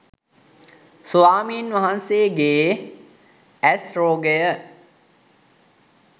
ස්වාමීන් වහන්සේගේ ඇස් රෝගය